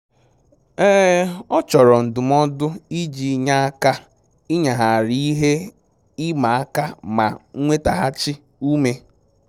Ọ chọrọ ndụmọdụ iji nye aka ịnyagharị ihe ịma aka ma nwetaghachi ume